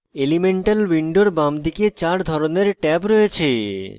elemental window বামদিকে চার ধরনের ট্যাব রয়েছে: